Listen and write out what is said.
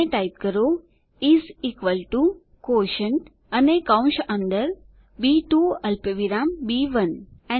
અને ટાઈપ કરો is equal to quotient અને કૌંસ અંદર બી2 અલ્પવિરામ બી1